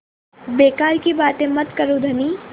बेकार की बात मत करो धनी